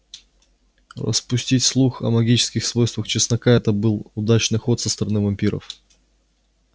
распустить слух о магических свойствах чеснока это был удачный ход со стороны вампиров